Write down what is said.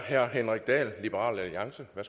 på